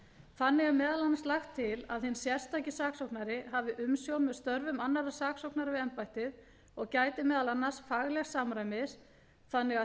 þannig er meðal annars lagt til að hinn sérstaki saksóknari hafi umsjón með störfum annarra saksóknara við embættið og gæti meðal annars faglegs samræmis þannig að